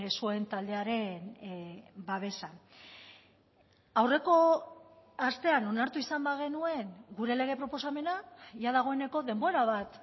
zuen taldearen babesa aurreko astean onartu izan bagenuen gure lege proposamena jada dagoeneko denbora bat